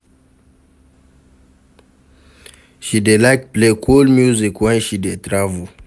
She dey like play cool music wen she dey travel.